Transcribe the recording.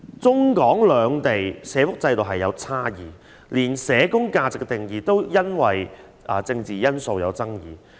中港兩地社福制度存在差異，連有關社工價值的定義也因為政治因素而出現爭議。